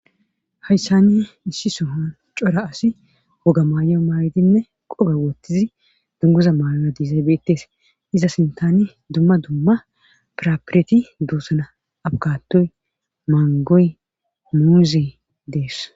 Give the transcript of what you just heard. Hayssani issi sohon cora asi woga maay'o maaydinne qoba wottizi dunguza maayoya dizaybeettes iza sintani dumma dumma prapireti duusana abgatoy mangoy muuuzee dees